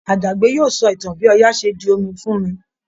Àjàgbé yóò sọ ìtàn bi Ọya ṣe di omi fún mi